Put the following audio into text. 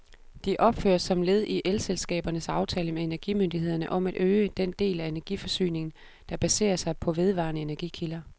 De opføres som led i elselskabernes aftale med energimyndighederne om at øge den del af energiforsyningen, der baserer sig på vedvarende energikilder.